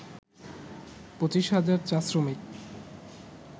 ২৫ হাজার চা-শ্রমিক